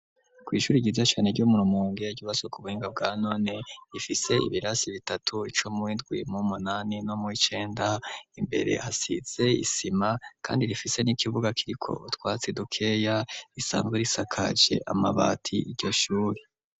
Kw'ishuri giza cane ryo murumumonge igibaso ku buhinga bwa none rifise ibirasi bitatu ico mwindwie mu munani no mu icenda imbere hasize isima, kandi rifise n'ikibuga kiri ko twatsi dukeya risanzwe risakaje amabati iryo shuri.